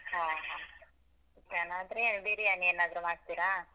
ಹ. biriyani ಏನಾದ್ರು ಮಾಡ್ತೀರಾ?